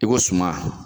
I ko suma